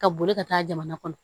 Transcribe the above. Ka boli ka taa jamana kɔnɔ